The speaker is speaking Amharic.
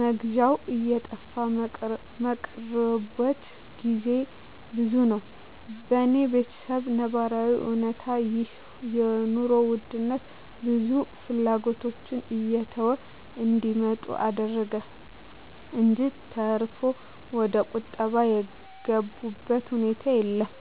መግዣው እየጠፋ ሚቀሩበት ግዜ ብዙ ነው። በኔ በተሰብ ነባራዊ እውነታ ይህ የኑሮ ውድነት ብዙ ፍላጎቶችን እየተው እንዲመጡ አደረገ እንጅ ተርፎ ወደቁጠባ የገቡበት ሁኔታ የለም።